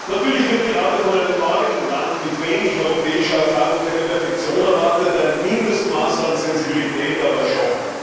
Natürlich wird gerade von einem neuen Land mit wenig europäischer Erfahrung keine Perfektion erwartet, ein Mindestmaß an Sensibilität aber schon.